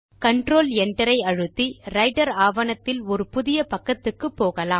control Enter ஐ அழுத்தி Writer ஆவணத்தில் ஒரு புதிய பக்கத்துக்கு போகலாம்